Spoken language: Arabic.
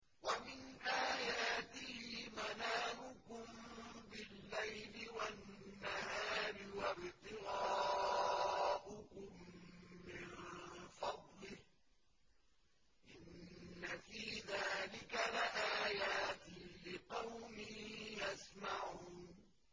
وَمِنْ آيَاتِهِ مَنَامُكُم بِاللَّيْلِ وَالنَّهَارِ وَابْتِغَاؤُكُم مِّن فَضْلِهِ ۚ إِنَّ فِي ذَٰلِكَ لَآيَاتٍ لِّقَوْمٍ يَسْمَعُونَ